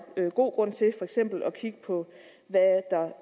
være god grund til for eksempel at kigge på